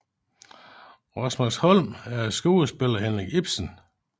Rosmersholm er et skuespil af Henrik Ibsen